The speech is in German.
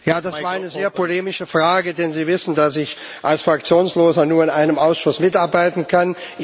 Das war eine sehr polemische Frage. denn Sie wissen, dass ich als Fraktionsloser nur in einem Ausschuss mitarbeiten kann.